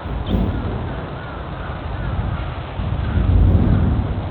enaayau enkitushulata eunore oorpaek